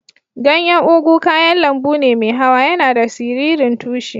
Ganyan ugu kayan lambu ne mai hawa. Yana da siririn tushi.